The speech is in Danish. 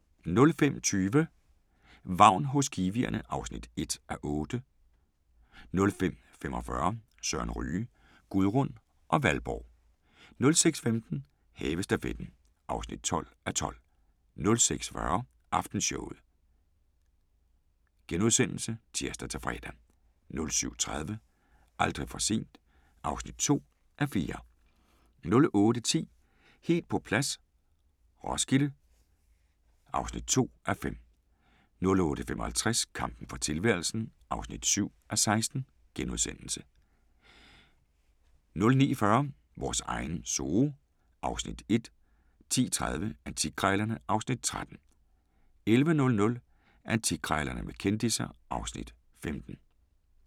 05:20: Vagn hos kiwierne (1:8) 05:45: Sørens Ryge: Gudrun og Valborg 06:15: Havestafetten (12:12) 06:40: Aftenshowet *(tir-fre) 07:30: Aldrig for sent (2:4) 08:10: Helt på plads - Roskilde (2:5) 08:55: Kampen for tilværelsen (7:16)* 09:40: Vores egen zoo (Afs. 1) 10:30: Antikkrejlerne (Afs. 13) 11:00: Antikkrejlerne med kendisser (Afs. 15)